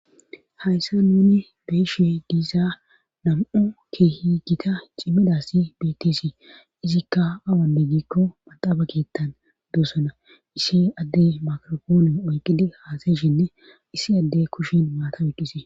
Hayssa nuni beeshe diisa nam'u kehi gita cimmidassi betisii izikka awanne giikko maxaaba keettan duosona issi adde makrophoone oyqqidi haasayshinne issi adde kushin maata oyqqisii.